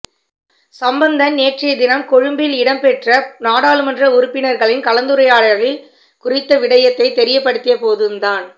சம்பந்தன் நேற்றைய தினம் கொழும்பில் இடம்பெற்ற நாடாளுமன்ற உறுப்பினர்களின் கலந்துரையாடலில் குறித்த விடயத்தை தெரியப்படுத்திய போதும் தான்